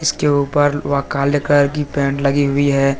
उसके ऊपर वह काले कलर की पेंट लगी हुई है।